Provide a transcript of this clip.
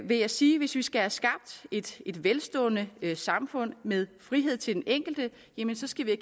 vil jeg sige at hvis vi skal have skabt et velstående samfund med frihed til den enkelte enkelte skal vi